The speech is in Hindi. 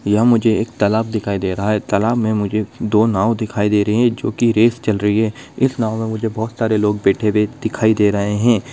यह मुझे एक तलाब दिखाई दे रहा है तलाब में मुझे दो नाव दिखाई दे रही है जो की रेस चल रही है इस नाव में मुझे बहुत सारे लोग बैठे हुए दिखाई दे रहे है।